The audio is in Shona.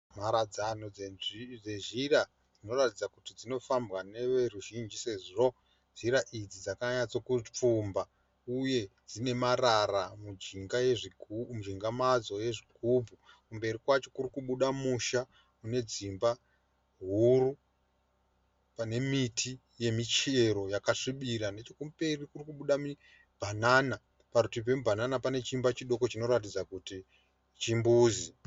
Mharadzano dzezhira dzinoratidza kuti dzinofamba neveruzhinji sezvo nzira idzi dzakanyatsopfumba uye dziine marara mujinga madzo ezvigubhu. Mberi kwacho kurikubuda musha unedzimba huru panemiti yemichero yakasvibira nechekumberi kurikubuda mibhanana. Parutivi pemibhanana pane chiimba chidoko chinoratidza kuti chimbuzi.